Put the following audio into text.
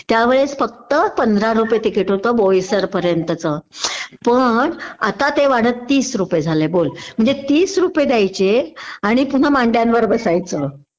त्यावेळेस फक्त पंधरा रुपये तिकीट होत भोईसर पर्यंतच पण आता ते वाढत तीस रुपये झालंय बोल.म्हणजे तीस रुपये द्यायचे आणि पुन्हा मांड्यांवर बसायचं